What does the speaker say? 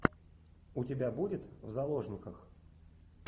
у тебя будет в заложниках